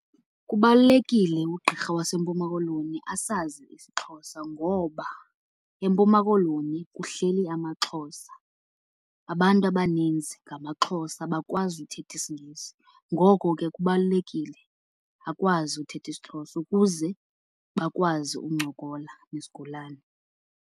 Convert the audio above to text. Kubalulekile ugqirha waseMpumalanga Koloni asazi isiXhosa ngoba eMpuma Koloni kuhleli amaXhosa. Abantu abaninzi ngamaXhosa abakwazi uthetha isiNgesi, ngoko ke kubalulekile akwazi uthetha isiXhosa ukuze bakwazi ukuncokola nezigulane.